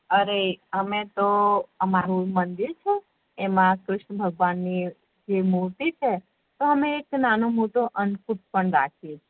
અરે અમે તો અમારું છે એમા કૃષ્ણ ભગવાની મૂર્તિ છે તો અમે નાનો મોટો અંકુટ પણ રાખીયે